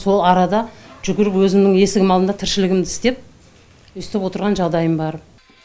сол арада жүгіріп өзімнің есігімнің алдында тіршілігімді істеп өстіп отырған жағдайым бар